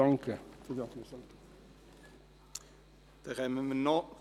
Wir kommen zu den Planungserklärungen 3.g und 3.h.